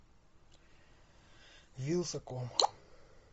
вилсаком